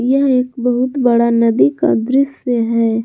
यह एक बहुत बड़ा नदी का दृश्य है।